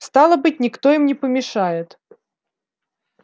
стало быть никто им не помешает